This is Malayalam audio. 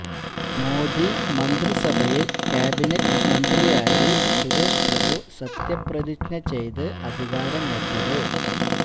മോദി മന്ത്രിസഭയില് കാബിനറ്റ് മന്ത്രിയായി സുരേഷ് പ്രഭു സത്യപ്രതിജ്ഞ ചെയ്ത് അധികാരമേറ്റത്